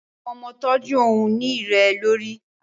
Awọn ọmọ ntọju ohun-ini rẹ lori